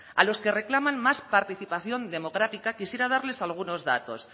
a los que reclaman más participación democrática quisiera darles algunos datos